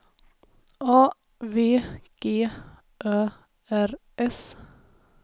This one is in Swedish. A V G Ö R S